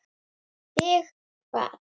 Þig hvað?